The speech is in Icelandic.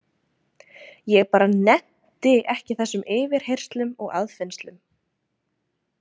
Ég bara nennti ekki þessum yfirheyrslum og aðfinnslum.